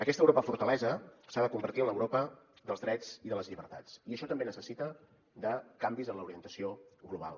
aquesta europa fortalesa s’ha de convertir en l’europa dels drets i de les llibertats i això també necessita canvis en l’orientació global